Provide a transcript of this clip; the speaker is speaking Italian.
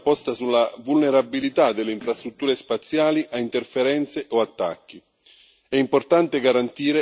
Tuttavia, particolare attenzione va posta sulla vulnerabilità delle infrastrutture spaziali a interferenze o attacchi.